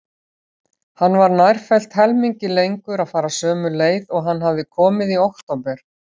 Hann var nærfellt helmingi lengur að fara sömu leið og hann hafði komið í október.